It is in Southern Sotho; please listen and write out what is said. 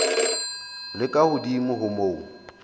le ka hodimo ho moo